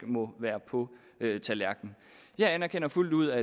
må være på tallerkenen jeg anerkender fuldt ud at